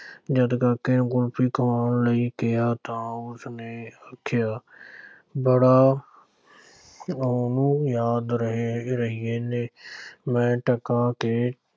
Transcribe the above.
ਜਦ ਕਾਕੇ ਨੂੰ ਕੁਲਫ਼ੀ ਖਵਾਉਣ ਲਈ ਕਿਹਾ ਤਾਂ ਉਸ ਨੇ ਆਖਿਆ ਬੜਾ ਉਹਨੂੰ ਯਾਦ ਰਹੈ ਰਹਿਣੈ ਮੈਂ ਟਕਾ ਦੇ